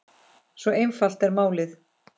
Svo einfalt er málið.